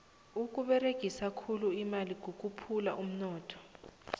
ukuberegisa khulu imali kukhuphula umnotho